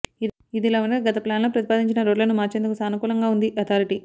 ఇదిలా ఉండగా గత ప్లాన్లో ప్రతిపాదించిన రోడ్లను మార్చేందుకు సానుకూలంగా ఉంది అథారిటీ